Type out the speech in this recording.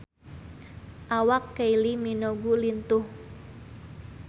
Awak Kylie Minogue lintuh